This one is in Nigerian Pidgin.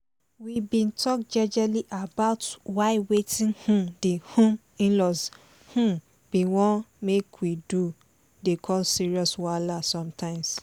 we been talk jejely about why wetin um the um in-laws um been wan make we do dey cause serious wahala sometimes